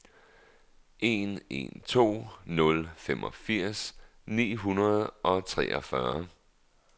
en en to nul femogfirs ni hundrede og treogtyve